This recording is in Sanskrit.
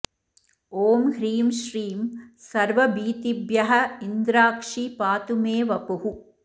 ॐ ह्रीं श्रीं सर्वभीतिभ्यः इन्द्राक्षी पातु मे वपुः